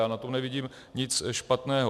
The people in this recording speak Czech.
Já na tom nevidím nic špatného.